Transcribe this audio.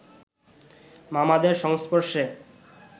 মামাদের সংস্পর্শে